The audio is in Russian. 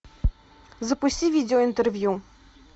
запусти видеоинтервью